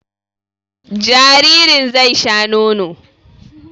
Jaririn zai sha nono